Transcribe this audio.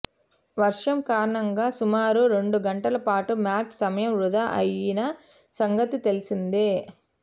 వర్షం కారణంగా సుమారు రెండు గంటల పాటు మ్యాచ్ సమయం వృథా అయిన సంగతి తెలిసిందే